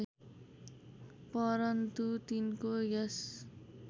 परन्तु तिनको यस